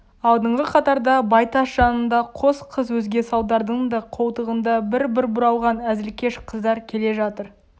алдыңғы қатарда байтас жанында қос қыз өзге салдардың да қолтығында бір-бір бұралған әзілкеш қыздар келе жатыр